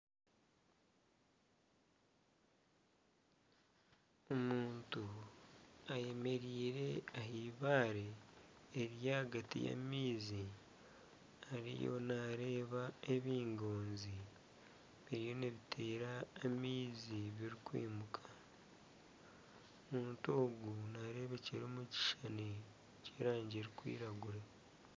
Omuntu ayemereire aha eibaare eriri ahagati y'amaizi ariyo naareeba ebingoozi biriyo nibiteera amaizi birikwimuka omuntu ogu naareebekyera omukishushani ky'erangi erikwiragura